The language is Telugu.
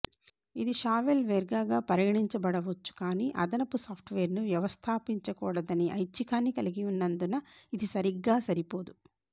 ఇది షావెల్వేర్గా పరిగణించబడవచ్చు కాని అదనపు సాఫ్ట్ వేర్ ను వ్యవస్థాపించకూడదనే ఐచ్ఛికాన్ని కలిగి ఉన్నందున ఇది సరిగ్గా సరిపోదు